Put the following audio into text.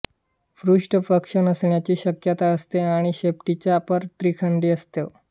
पृष्ठपक्ष नसण्याची शक्यता असते आणि शेपटीचा पर त्रिखंडी असतो